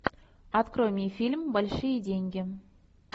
открой мне фильм большие деньги